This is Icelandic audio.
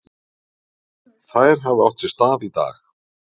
Þær hafi átt sér stað í dag.